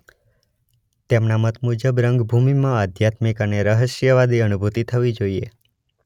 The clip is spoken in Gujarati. તેમના મત મુજબ રંગભૂમિમાં અધ્યાત્મિક અને રહસ્યવાદી અનુભુતિ થવી જોઈએ.